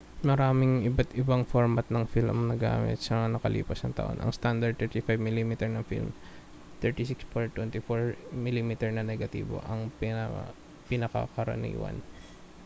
maraming iba't-ibang format ng film ang nagamit na sa mga nakalipas na taon. ang standard na 35 mm na film 36 por 24 mm na negatibo ay ang pinakakaraniwan